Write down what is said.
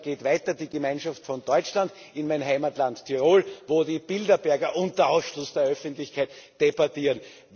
Und dann geht die Gemeinschaft weiter von Deutschland in mein Heimatland Tirol, wo die Bilderberger unter Ausschluss der Öffentlichkeit debattieren.